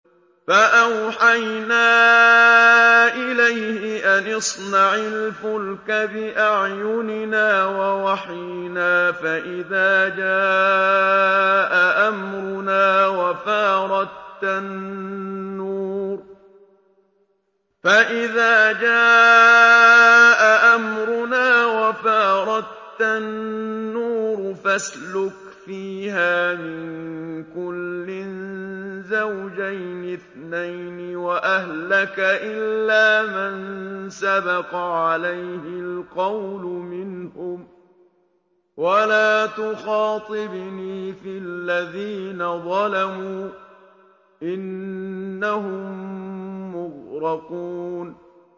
فَأَوْحَيْنَا إِلَيْهِ أَنِ اصْنَعِ الْفُلْكَ بِأَعْيُنِنَا وَوَحْيِنَا فَإِذَا جَاءَ أَمْرُنَا وَفَارَ التَّنُّورُ ۙ فَاسْلُكْ فِيهَا مِن كُلٍّ زَوْجَيْنِ اثْنَيْنِ وَأَهْلَكَ إِلَّا مَن سَبَقَ عَلَيْهِ الْقَوْلُ مِنْهُمْ ۖ وَلَا تُخَاطِبْنِي فِي الَّذِينَ ظَلَمُوا ۖ إِنَّهُم مُّغْرَقُونَ